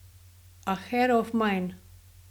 A hero of mine.